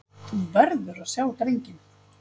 Þú verður að sjá drenginn!